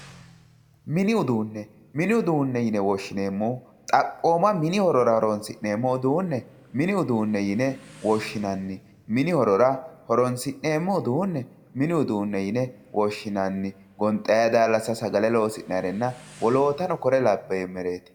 mini uduunne mini uduunne yine woshshineemmohu xaphooma mini horora horonsi'neemmo uduunne mini uduunne yine woshshinanni gonxayi daallasa sagale loosi'neemmerenna wolootano kuri labbinore